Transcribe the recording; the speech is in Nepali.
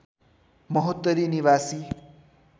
महोत्तरी निवासी